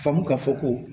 Faamu k'a fɔ ko